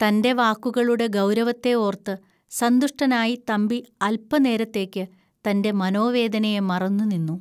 തന്റെ വാക്കുകളുടെ ഗൗരവത്തെ ഓർത്തു സന്തുഷ്ടനായി തമ്പി അൽപനേരത്തേക്കു തന്റെ മനോവേദനയെ മറന്നു നിന്നു